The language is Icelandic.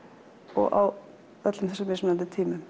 og á öllum þessum mismunandi tímum